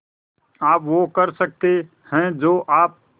आप वो कर सकते हैं जो आप